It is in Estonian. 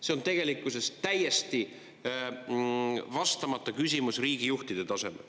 See on tegelikkuses täiesti vastamata küsimus riigijuhtide tasemel.